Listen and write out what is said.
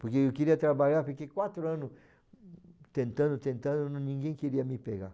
Porque eu queria trabalhar, fiquei quatro anos tentando, tentando, ninguém queria me pegar.